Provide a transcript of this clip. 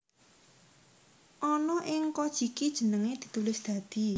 Ana ing Kojiki jenenge ditulis dadi